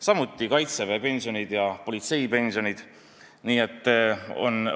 Samuti kaitseväelaste ja politseinike pensioni küsimus.